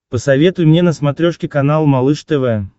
посоветуй мне на смотрешке канал малыш тв